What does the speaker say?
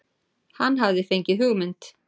Hann hafði fengið hugmynd.